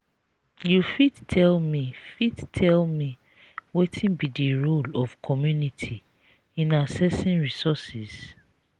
you fit tell me fit tell me wetin be di role of community in accessing resources?